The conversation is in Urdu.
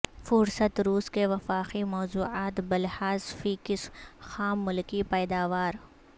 فہرست روس کے وفاقی موضوعات بلحاظ فی کس خام ملکی پیداوار